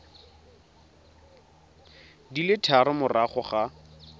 di le tharo morago ga